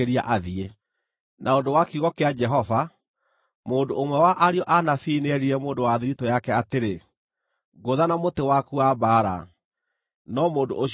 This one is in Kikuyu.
Na ũndũ wa kiugo kĩa Jehova, mũndũ ũmwe wa ariũ a anabii nĩerire mũndũ wa thiritũ yake atĩrĩ, “Ngũtha na mũtĩ waku wa mbaara,” no mũndũ ũcio akĩrega.